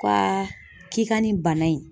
Ka k'i ka nin bana in